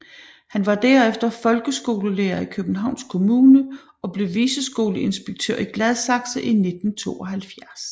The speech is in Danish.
Han var derefter folkeskolelærer i Københavns Kommune og blev viceskoleinspektør i Gladsaxe i 1972